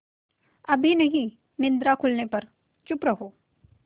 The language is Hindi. अभी नहीं निद्रा खुलने पर चुप रहो